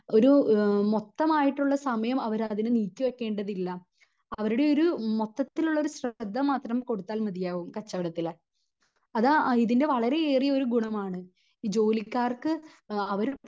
ഒരു എഹ് മൊത്തമായിട്ടുള്ള സമയം അവർ അതിന് നീക്കി വെക്കേണ്ടതില്ല അവരുടെ ഒരു മൊത്തത്തിൽ ഉള്ള ഒരു ശ്രദ്ധ മാത്രം കൊടുത്താൽ മതിയാവും കച്ചവടത്തില് അതാ ഇതിൻ്റെ വളരേ ഏറിയ ഒരു ഗുണമാണ്. ഈ ജോലിക്കാർക്ക് അഹ് അവർ